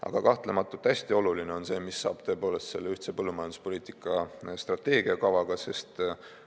Aga kahtlemata hästi oluline on see, mis saab tõepoolest sellest ühtse põllumajanduspoliitika strateegiakavast.